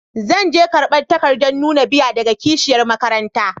Zan je karban takadan nuna biya daga kashiyar makaranta.